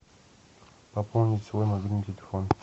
пополнить свой мобильный телефон